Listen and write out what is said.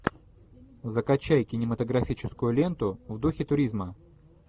закачай кинематографическую ленту в духе туризма